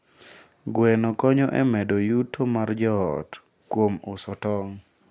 Gweno konyo e medo yuto mar joot kuom uso tong'.